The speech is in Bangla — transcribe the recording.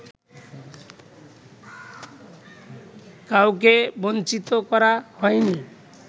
কাউকে বঞ্চিত করা হয়নি